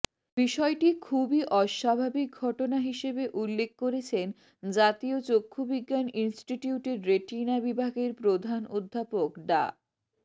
বিষয়টি খুবই অস্বাভাবিক ঘটনা হিসেবে উল্লেখ করেছেন জাতীয় চক্ষুবিজ্ঞান ইনস্টিটিউটের রেটিনা বিভাগের প্রধান অধ্যাপক ডা